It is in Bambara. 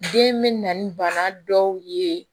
Den bɛ na ni bana dɔw ye